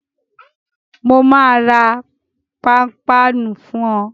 Mo máa ra pápánu fún ọ